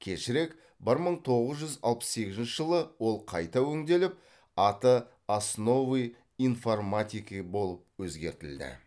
кешірек бір мың тоғыз жүз алпыс сегізінші жылы ол қайта өңделіп аты основы информатики болып өзгертілді